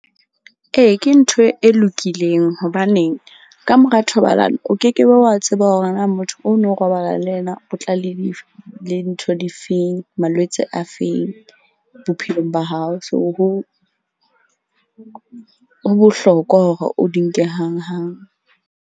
Ee, ke ntho e lokileng hobaneng ka mora thobalano o ke ke be wa tseba hore na motho o no robala le yena, o tla le ntho difeng malwetse a feng bophelong ba hao. So, ho bohlokwa hore o di nke hanghang.